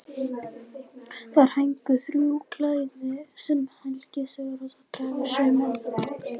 Þar héngu þrjú klæði sem Helga Sigurðardóttir hafði saumað.